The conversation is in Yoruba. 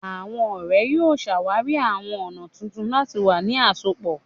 Awọn ọrẹ yoo ṣawari awọn ọna tuntun lati wa ni asopọ